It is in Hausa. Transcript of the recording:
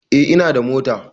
Eh ina da mota